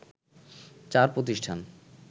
চার প্রতিষ্ঠান